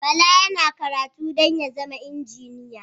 Bala yana karatu don ya zama injiniya